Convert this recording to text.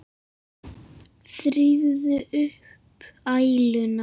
Þrífðu upp æluna.